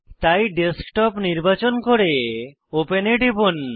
তাই ডেস্কটপ নির্বাচন করে ওপেন এ টিপুন